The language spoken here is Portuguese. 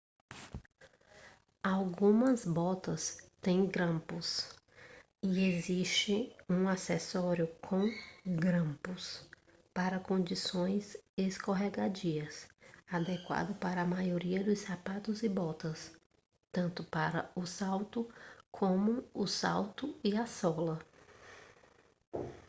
algumas botas têm grampos e existe um acessório com grampos para condições escorregadias adequado para a maioria dos sapatos e botas tanto para o salto como o salto e a sola